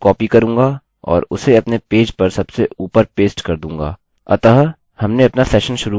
मैं उसे कॉपी करूँगा और उसे अपने पेज पर सबसे ऊपर पेस्ट कर दूँगा अतः हमने अपना सेशन शुरू कर दिया है